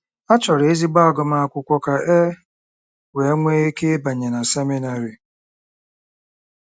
A chọrọ ezigbo agụmakwụkwọ ka e wee nwee ike ịbanye na seminarị.